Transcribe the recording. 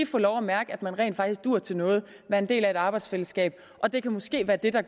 få lov at mærke at man rent faktisk duer til noget er en del af et arbejdsfællesskab det kan måske være det der